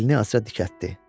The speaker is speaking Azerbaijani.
Belini azca dikəltdi.